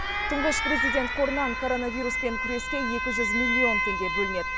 тұңғыш президент қорынан коронавируспен күреске екі жүз миллион теңге бөлінеді